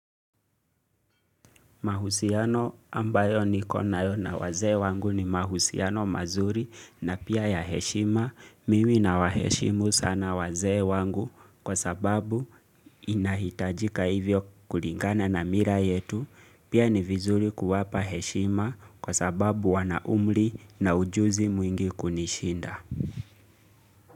Mahusiano ambayo nikona na wazee wangu ni mahusiano mazuri na pia ya heshima, mimi nawaheshimu sana e wangu kwa sababu inahitajika hivyo kulingana na mila yetu, pia ni vizuri kuwapa heshima kwasababu wanaumri na ujuzi mwingi kunishinda.